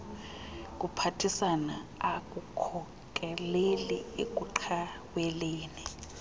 kuphathisana akukhokeleli ekuqhaweleni